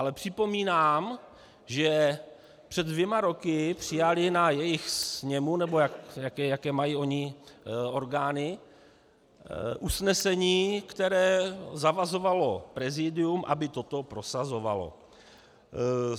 Ale připomínám, že před dvěma roky přijali na jejich sněmu, nebo jaké mají oni orgány, usnesení, které zavazovalo prezidium, aby to prosazovalo.